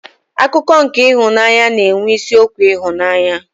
Akụkọ nke ịhụnanya na-enwe isiokwu ịhụnanya.